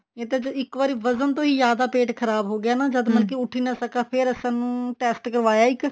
ਇਹ ਤਾਂ ਇੱਕ ਵਾਰੀ ਵਜਨ ਤੋਂ ਹੀ ਜਿਆਦਾ ਪੇਟ ਖ਼ਰਾਬ ਹੋਗਿਆ ਜਦ ਮਤਲਬ ਉੱਠ ਹੀ ਨਾ ਸਕਾਂ ਫੇਰ ਅਸੀਂ test ਕਰਵਾਇਆ ਇੱਕ